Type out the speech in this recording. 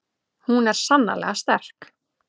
Hún er sannarlega sterk.